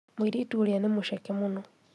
Mũirĩtu ũrĩa nĩ mũceke mũno